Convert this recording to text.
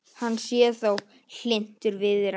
Hann sé þó hlynntur viðræðum